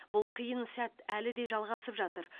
бұл қиын сәт әлі де жалғасып жатыр